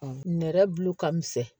Nɛrɛ bulu ka misɛn